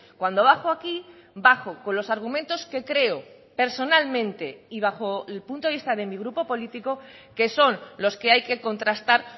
cuando bajo aquí bajo con los argumentos que creo personalmente y bajo el punto de vista de mi grupo político que son los que hay que contrastar